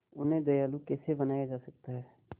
उन्हें दयालु कैसे बनाया जा सकता है